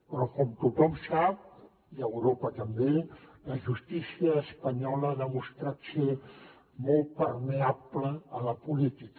però com tothom sap i a europa també la justícia espanyola ha demostrat ser molt permeable a la política